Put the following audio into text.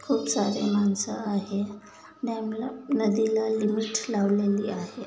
खुप सारे माणसं आहे. डॅमला नदीला लिमिटस लावलेली आहे.